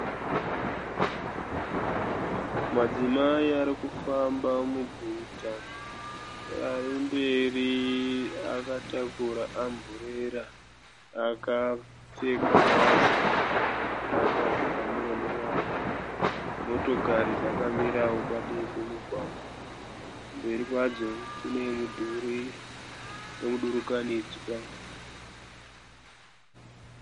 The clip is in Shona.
Madzimai arikufamba muguta. Arimberi akatakura amburera, akapfeka masiki akavhara muromo wake. Motokari dzakamirawo padivi pemugwagwa. Mberi kwadzo kunemudhuri wemudurikanidzwa.